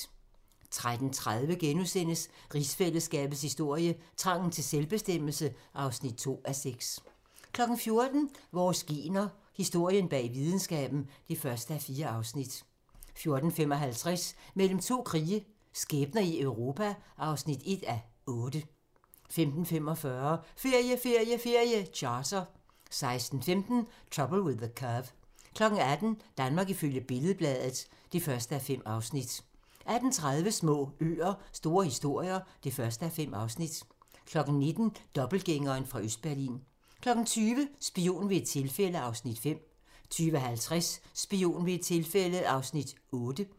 13:30: Rigsfællesskabets historie: Trangen til selvbestemmelse (2:6)* 14:00: Vores gener - Historien bag videnskaben (1:4) 14:55: Mellem to krige - skæbner i Europa (1:8) 15:45: Ferie, ferie, ferie: Charter 16:15: Trouble with the Curve 18:00: Danmark ifølge Billed-Bladet (1:5) 18:30: Små øer - store historier (1:5) 19:00: Dobbeltgængeren fra Østberlin 20:00: Spion ved et tilfælde (Afs. 7) 20:50: Spion ved et tilfælde (Afs. 8)